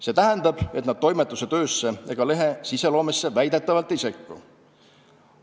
See tähendab, et nad toimetuse töösse ega lehe sisuloomesse väidetavalt ei sekku.